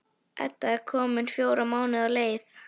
Edda er komin fjóra mánuði á leið.